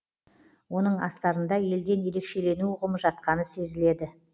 оның астарында елден ерекшелену ұғымы жатқаны сезіледі